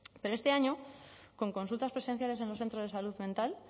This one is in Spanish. pero este año con consultas presenciales en los centros de salud mental